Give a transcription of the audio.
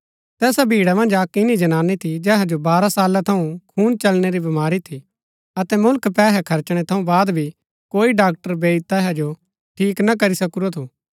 तैसा भीड़ा मन्ज अक्क इन्‍नी जनानी थी जेहा जो बारह साला थऊँ खून चलणै री बीमारी थी अतै मुल्ख पैहै खर्चणै थऊँ वाद भी कोई डाक्टर बैईद तैहाओ ठीक ना करी सकूरा थू